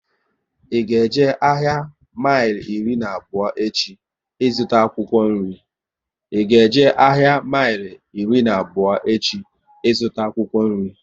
I ga eje ahịa mile iri na abụọ echi ịzụta akwụkwọ nri?